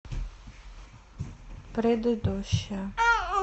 предыдущая